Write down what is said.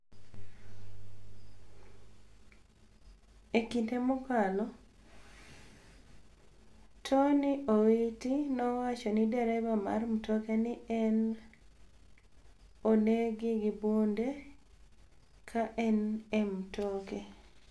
E kinide mokalo, Toniy Owiti nowacho nii dereba mar mtoke ni e oni egi gi bunide ka eni e mtoke.